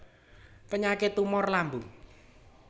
Penyakit tumor lambung